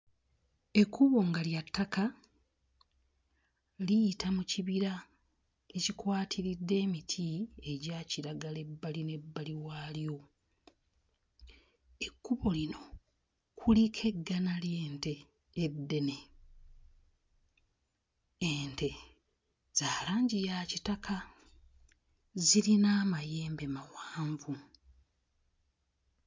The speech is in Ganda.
Ekkubo nga lya ttaka liyita mu kibira ekikwatiridde emiti egya kiragala ebbali n'ebbali waalyo, ekkubo lino kuliko eggana ly'ente eddene, ente za langi ya kitaka zirina amayembe mawanvu.